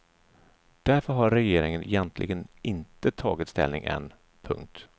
Därför har regeringen egentligen inte tagit ställning än. punkt